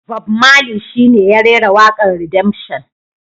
Bob marley shi ne ya rera wakar Redemption.